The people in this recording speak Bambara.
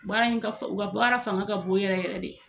Baara in ka fisa o ka baara fanga ka bon yɛrɛ yɛrɛ de.